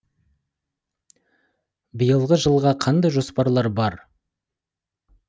биылғы жылға қандай жоспарлар бар